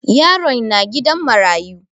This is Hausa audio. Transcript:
Yaron na gidan marayu.